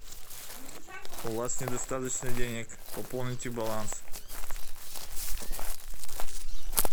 у вас недостаточно денег пополните баланс